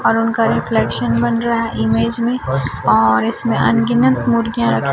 और उनका रिफ्लेक्शन बन रहा है इमेज में और इसमें अनगिनत मुर्गियां रखी--